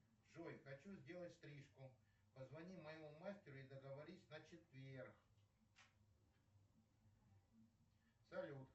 джой хочу сделать стрижку позвони моему мастеру и договорись на четверг салют